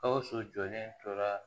Gawusu jɔlen tora